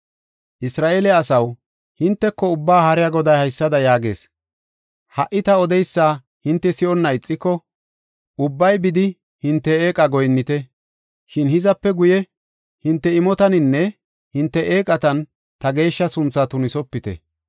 Isra7eele asaw, hinteko Ubbaa Haariya Goday haysada yaagees: “Ha77i ta odeysa hinte si7onna ixiko, ubbay bidi hinte eeqa goyinnite. Shin hizape guye, hinte imotaninne hinte eeqatan ta geeshsha sunthaa tunisopite.